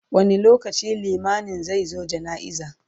wani lokaci limamin zai zo jana'iza?